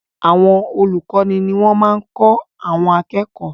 Àwọn olùkọ́ ní wọ́n ń kọ́ àwọn akẹ́kọ̀ọ́.